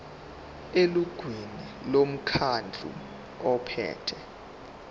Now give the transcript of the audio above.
elungwini lomkhandlu ophethe